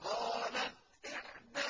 قَالَتْ إِحْدَاهُمَا